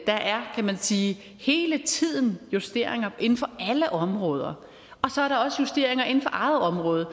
der er kan man sige hele tiden justeringer inden for alle områder og så er der også justeringer inden for eget område